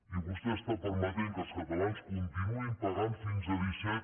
i vostè està permetent que els catalans continuïn pagant fins a disset